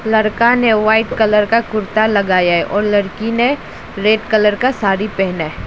लड़का ने white colour का कुर्ता लगाया है और लड़की ने रेड कलर का साड़ी पहने।